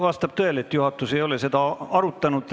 Vastab tõele, et juhatus ei ole seda arutanud.